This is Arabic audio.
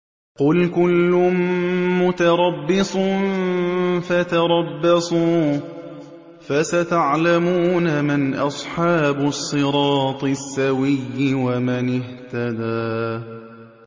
قُلْ كُلٌّ مُّتَرَبِّصٌ فَتَرَبَّصُوا ۖ فَسَتَعْلَمُونَ مَنْ أَصْحَابُ الصِّرَاطِ السَّوِيِّ وَمَنِ اهْتَدَىٰ